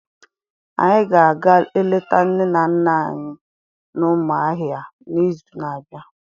Anyị ga-aga eleta nne nne anyị na Umuahia n'izu na-abịa.